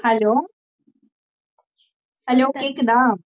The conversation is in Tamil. hello hello கேக்குதா